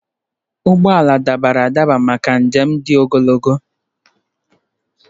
Ụgbọ ala dabara adaba maka njem dị ogologo.